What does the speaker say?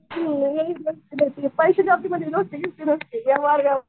पैसे तिथं दोस्ती बिस्ती नसती व्यवहार व्यवहार